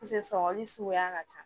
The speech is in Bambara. mise sɔgɔli suguya ka ca